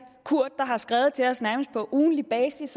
kurt der har skrevet til os nærmest på ugentlig basis